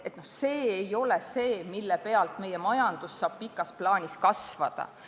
See ei ole see, mille najal meie majandus saab pikas plaanis kasvada.